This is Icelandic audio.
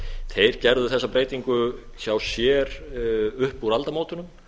þeir gerðu þessa breytingu hjá sér upp úr aldamótunum